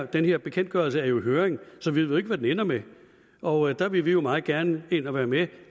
den her bekendtgørelse er jo i høring så vi ved ikke hvad det ender med og der vil vi meget gerne ind og være med